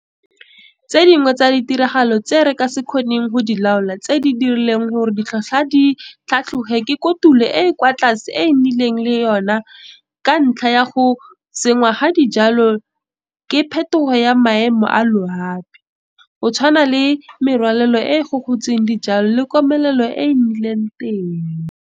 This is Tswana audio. Tse dingwe tsa ditiragalo tse re ka se kgoneng go di laola tse di dirileng gore ditlhotlhwa di tlhatlhoge ke kotulo e e kwa tlase e re nnileng le yona ka ntlha ya go senngwa ga dijalo ke phetogo ya maemo a loapi, go tshwana le merwalela e e gogotseng dijalo le komelelo e e nnileng teng.